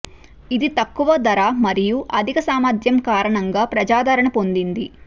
ఇది తక్కువ ధర మరియు అధిక సామర్థ్యం కారణంగా ప్రజాదరణ పొందింది